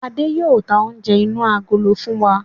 Adé yìí ó tà oúnjẹ inú agolo fún wa